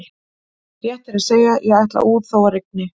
Rétt er að segja: ég ætla út þó að rigni